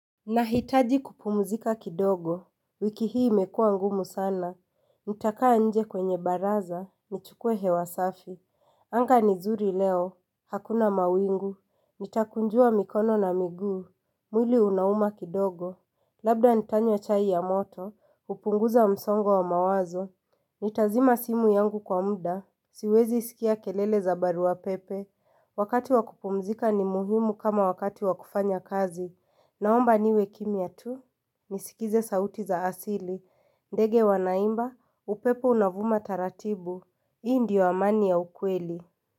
Nahitaji kupumzika kidogo, wiki hii imekuwa ngumu sana, nitakaa nje kwenye baraza, nichukue hewa safi, anga ni 'zuri leo, hakuna mawingu, nitakunjua mikono na miguu, mwili unauma kidogo, labda nitanywa chai ya moto, kupunguza msongo wa mawazo, nitazima simu yangu kwa muda, siwezi sikia kelele za barua pepe, wakati wa kupumzika ni muhimu kama wakati wa kufanya kazi, Naomba niwe kimya tu, nisikize sauti za asili. Ndege wanaimba, upepo unavuma taratibu. Hii ndiyo amani ya ukweli.